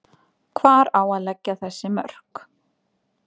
Hvar á að leggja þessi mörk?